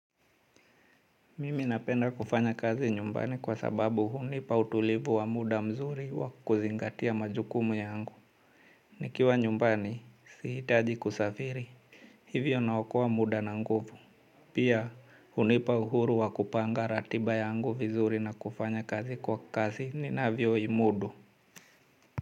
Mimi napenda kufanya kazi nyumbani kwa sababu hunipa utulivu wa muda mzuri wa kuzingatia majukumu yangu. Nikiwa nyumbani, sihitaji kusafiri. Hivyo naokoa muda na nguvu. Pia hunipa uhuru wa kupanga ratiba yangu vizuri na kufanya kazi kwa kazi ninavyo imudu.